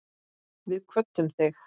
Við kvöddum þig.